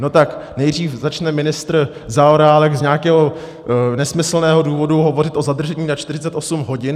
No tak nejdřív začne ministr Zaorálek z nějakého nesmyslného důvodu hovořit o zadržení na 48 hodin.